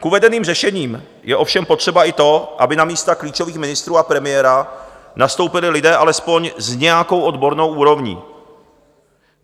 K uvedeným řešením je ovšem potřeba i to, aby na místa klíčových ministrů a premiéra nastoupili lidé alespoň s nějakou odbornou úrovní.